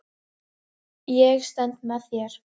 Ég stend með þér.